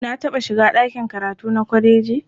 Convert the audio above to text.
Na taɓa shiga ɗakin karatu na kwaleji.